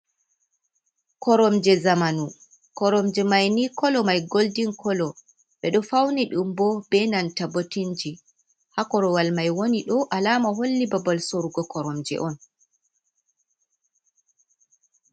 Koromje zamanu. Koromje mai ni kolo mai goldin kolo. Ɓe ɗo fauni ɗum be nanta botinji. Ha korwal mai woni ɗo, alama holli babal sorrugo koromje on.